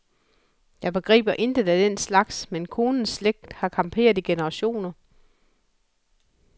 Jeg begriber intet af den slags, men konens slægt har camperet i generationer.